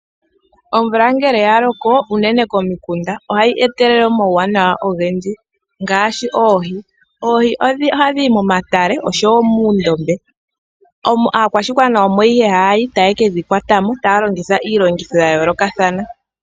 Omvula ngele ya loko unene komikunda ohayi etelele omauwanawa ogendji ngaashi oohi. Oohi ohadhi yi momatale oshowo muundombe omo aakwashigwana omo haya yi taye ke dhi kwatamo taya longitha iilongitho ya yoolokathana.